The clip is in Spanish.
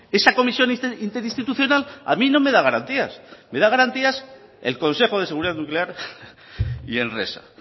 esa comisión interinstitucional a mí no me da garantías me da garantías el consejo de seguridad nuclear y enresa